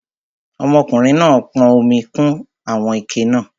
Ọmọkùnrin náà pọn omi kún àwọn ike náà